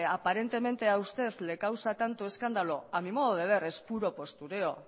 aparentemente a usted le causa tanto escándalo a mi modo de ver es puro postureo